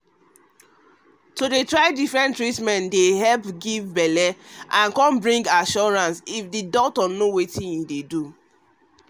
trying differnent treatment to help get belle fit bring new assuracance if na better doctor dey guide amyou um get